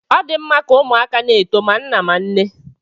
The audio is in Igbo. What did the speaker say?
Ọ dị mma ka ụmụaka na-eto ma nna ma nne